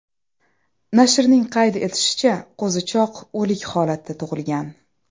Nashrning qayd etishicha, qo‘zichoq o‘lik holatda tug‘ilgan.